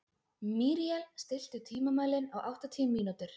Míríel, stilltu tímamælinn á áttatíu mínútur.